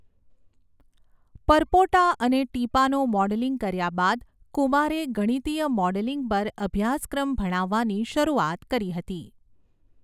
પરપોટા અને ટીપાંનું મૉડલિંગ કર્યા બાદ કુમારે ગણિતીય મૉડલિંગ પર અભ્યાસક્રમ ભણાવવાની શરૂઆત કરી હતી.